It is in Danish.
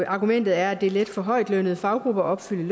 argumentet er at det er let for højtlønnede faggrupper at opfylde